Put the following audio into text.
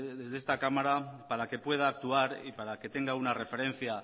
desde esta cámara para que pueda actuar y para que tenga una referencia